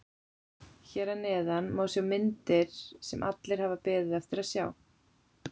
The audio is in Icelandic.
Hér að neðan má sjá myndir sem allir hafa beðið eftir að sjá.